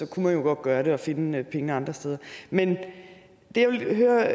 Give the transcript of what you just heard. kunne man jo godt gøre det og finde pengene andre steder men det jeg ville høre